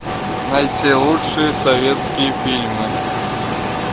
найти лучшие советские фильмы